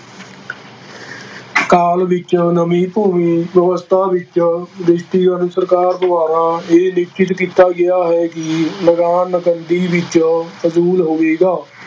ਕਾਲ ਵਿੱਚ ਨਵੀਂ ਭੂਮੀ ਵਿਵਸਥਾ ਵਿੱਚ ਸਰਕਾਰ ਦੁਆਰਾ ਇਹ ਨਿਸ਼ਚਿਤ ਕੀਤਾ ਗਿਆ ਹੈ ਕਿ ਲਗਾਨ ਨਕਦੀ ਵਿੱਚ ਵਸ਼ੂਲ ਹੋਵੇਗਾ।